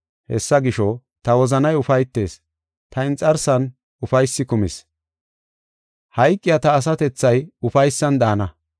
Hessa gisho, ta wozanay ufaytis; ta inxarsan ufaysi kumis; hayqiya ta asatethay ufaysan daana.